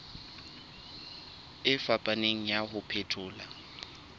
e fapaneng ya ho phethola